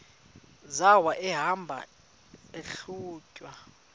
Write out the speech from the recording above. zawo ehamba eyihlalutya